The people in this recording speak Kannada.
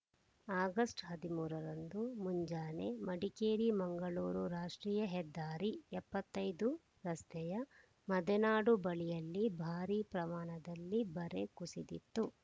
ಆಗಸ್ಟ್ ಹದಿಮೂರರಂದು ಮುಂಜಾನೆ ಮಡಿಕೇರಿಮಂಗಳೂರುರಾಷ್ಟ್ರೀಯ ಹೆದ್ದಾರಿ ಎಪ್ಪತ್ತ್ ಐದು ರಸ್ತೆಯ ಮದೆನಾಡು ಬಳಿಯಲ್ಲಿ ಭಾರಿ ಪ್ರಮಾಣದಲ್ಲಿ ಬರೆ ಕುಸಿದಿತ್ತು